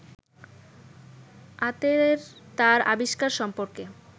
আতের তার আবিষ্কার সম্পর্কে